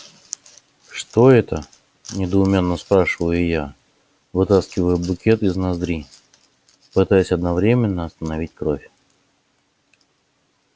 что это недоумённо спрашиваю я вытаскивая букет из ноздри пытаясь одновременно остановить кровь